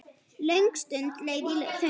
Löng stund leið í þögn.